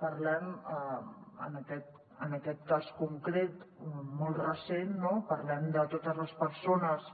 parlem en aquest cas concret molt recent no de totes les persones